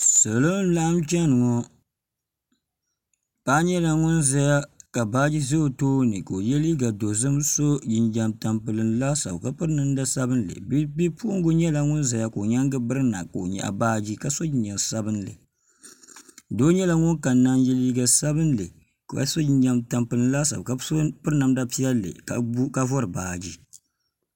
salo n laɣam chɛni ŋo paɣa nyɛla ŋun ʒɛya ka baaji ʒɛ o tooni ka o yɛ liiga dozim ka so jinjɛm tampilim laasabu ka piri namda sabinli Bipuɣungi nyɛla ŋun ʒɛya ka o nyaangu birina ka o nyaɣa baaji so jinjɛm sabinli doo nyɛla ŋun kanna n yɛ liiga sabinli ka so jinjɛm tampilim laasabu ka bi so piri namda piɛlli ka vori baaji